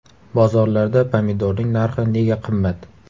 Bozorlarda pomidorning narxi nega qimmat?